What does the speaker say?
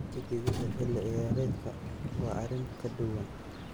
Tigidhada xilli ciyaareedka waa arrin ka duwan.